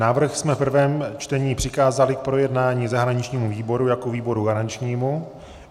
Návrh jsme v prvém čtení přikázali k projednání zahraničnímu výboru jako výboru garančnímu.